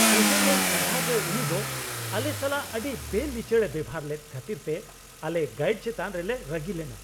ᱥᱩᱭᱡᱟᱨᱞᱮᱹᱱᱰ ᱥᱟᱸᱜᱷᱟᱨ ᱨᱮ ᱩᱱᱤᱫᱚ ᱟᱞᱮ ᱥᱟᱞᱟᱜ ᱟᱹᱰᱤ ᱵᱮᱼᱲᱤᱪᱟᱹᱲ ᱮ ᱵᱮᱣᱦᱟᱨ ᱞᱮᱫ ᱠᱷᱟᱹᱛᱤᱨᱛᱮ ᱟᱞᱮ ᱜᱟᱹᱭᱤᱰ ᱪᱮᱛᱟᱱ ᱨᱮᱞᱮ ᱨᱟᱹᱜᱤ ᱞᱮᱱᱟ ᱾